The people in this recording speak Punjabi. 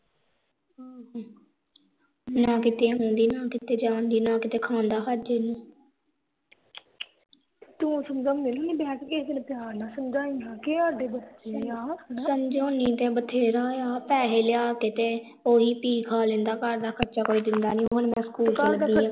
ਸਮਝੋਣੀ ਤੇ ਬਥੇਰਾ ਆ ਪੈਹੇ ਲਿਆ ਕੇ ਤੇ ਓਵੀ ਪੀ ਖਾ ਲੈਂਦਾ ਘਰ ਦਾ ਖਰਚਾ ਕੋਈ ਦਿੰਦਾ ਨੀ ਤੇ ਹੁਣ ਮੈਂ ਸਕੂਲ ਲੱਗੀ ਆ